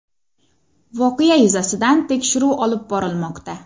Voqea yuzasidan tekshiruv olib borilmoqda.